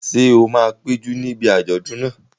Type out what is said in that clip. Ṣé o máa péjú níbi àjọ̀dún náà?